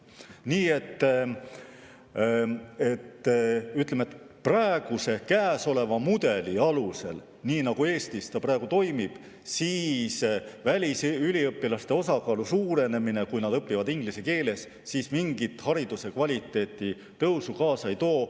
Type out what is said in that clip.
Nii et ütleme, et praeguse mudeli alusel, nii nagu Eestis see praegu toimub, välisüliõpilaste osakaalu suurenemine, kui nad õpivad inglise keeles, mingit hariduse kvaliteedi tõusu kaasa ei too.